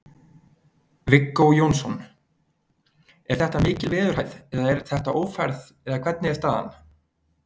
Viggó Jónsson: Er þetta mikil veðurhæð eða er þetta ófærð eða hvernig er staðan?